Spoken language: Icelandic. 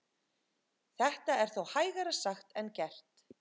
Þetta er þó hægara sagt en gert.